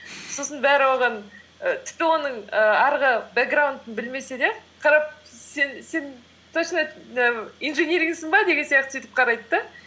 сосын бәрі оған і тіпті оның і арғы бэкграундын білмесе де қарап сен точно инжинирингсың ба деген сияқты сөйтіп қарайды да